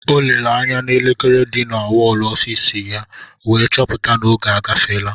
O lere anya n'elekere di na wọl ọfiisi ya wee chọpụta na oge agafeela